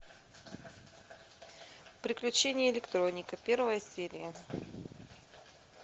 приключения электроника первая серия